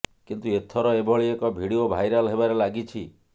କିନ୍ତୁ ଏଥର ଏଭଳି ଏକ ଭିଡିଓ ଭାଇରାଲ ହେବାରେ ଲାଗିଛି